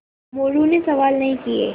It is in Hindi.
मोरू ने सवाल नहीं किये